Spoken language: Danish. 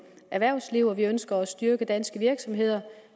erhvervsliv og vi ønsker at styrke danske virksomheder